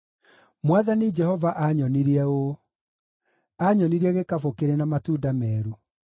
Mwathani Jehova aanyonirie ũũ: aanyonirie gĩkabũ kĩrĩ na matunda meeru.